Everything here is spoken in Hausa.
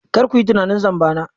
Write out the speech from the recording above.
Kar ku yi tunanin zamba na.